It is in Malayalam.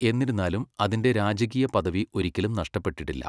എന്നിരുന്നാലും, അതിന്റെ രാജകീയ പദവി ഒരിക്കലും നഷ്ടപ്പെട്ടിട്ടില്ല.